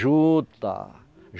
Juta.